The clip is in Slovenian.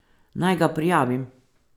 Naj ga prijavim?